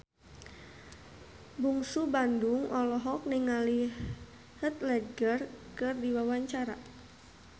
Bungsu Bandung olohok ningali Heath Ledger keur diwawancara